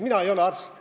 Mina ei ole arst.